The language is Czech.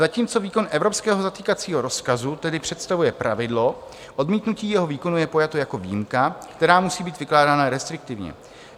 Zatímco výkon evropského zatýkacího rozkazu tedy představuje pravidlo, odmítnutí jeho výkonu je pojato jako výjimka, která musí být vykládána restriktivně.